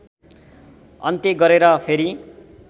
अन्त्य गरेर फेरि